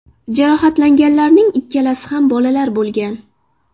Jarohatlanganlarning ikkalasi ham bolalar bo‘lgan.